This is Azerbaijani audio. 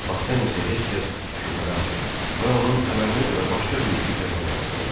Bakdan isə heç kəs şübhələnmədi və onun əməlinə görə başqa bir iti cəzalandırdılar.